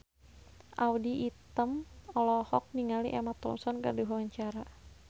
Audy Item olohok ningali Emma Thompson keur diwawancara